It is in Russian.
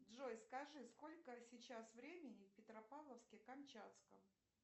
джой скажи сколько сейчас времени в петропавловске камчатском